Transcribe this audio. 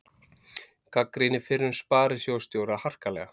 Gagnrýnir fyrrum sparisjóðsstjóra harkalega